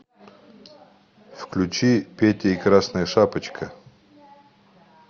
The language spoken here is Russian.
включи петя и красная шапочка